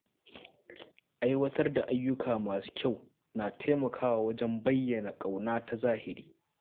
Aiwatar da ayyuka masu kyau na taimakawa wajen bayyana ƙauna ta zahiri.